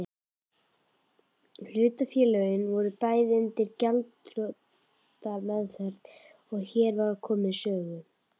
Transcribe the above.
Hlutafélögin voru bæði undir gjaldþrotameðferð er hér var komið sögu.